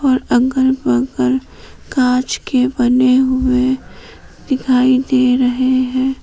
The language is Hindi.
और अगल बगल कांच के बने हुए दिखाई दे रहे हैं।